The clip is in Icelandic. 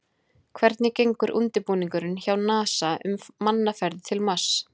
Hvernig gengur undirbúningur hjá NASA um mannaðar ferðir til Mars?